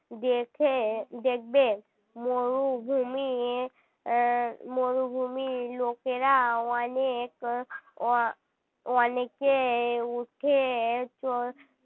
দেখে দেখবে মরুভূমির মরুভূমির লোকেরা অনেক আহ অনেকে এ উঠে